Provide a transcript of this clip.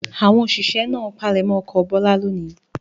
Àwọn òṣìṣẹ́ náà palẹ̀mọ́ oko Bọ́lá lónìí.